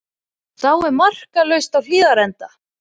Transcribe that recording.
Þá er markalaust á Hlíðarenda